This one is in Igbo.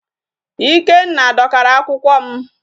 Ikenna dọkara akwụkwọ m.